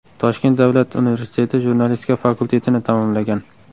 Toshkent Davlat universiteti jurnalistika fakultetini tamomlagan.